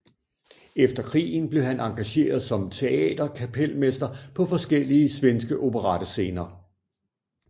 Efter krigen blev han engageret som teaterkapelmester på forskellige svenske operettescener